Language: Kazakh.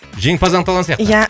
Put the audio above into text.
жеңімпаз анықталған сияқты иә